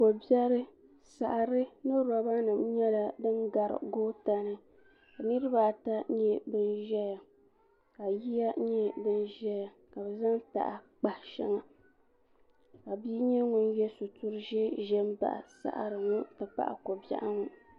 ko biɛri saɣari ni roba nim nyɛla din gari goota ni niraba ata n nyɛ din ʒɛya ka yiya nyɛ din ʒɛya ka bi zaŋ taha n kpahi shɛŋa ka bia nyɛ ŋun yɛ sitiri ʒiɛ ʒɛ n baɣa paɣaba ŋɔ ti pahi ko biɛɣu ŋɔ